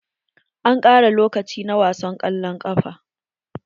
An ƙara lokaci na wasan kwallon kafa ɗin.